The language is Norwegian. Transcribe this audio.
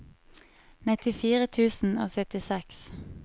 nittifire tusen og syttiseks